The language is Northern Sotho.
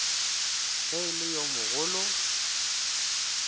ge e le yo mogolo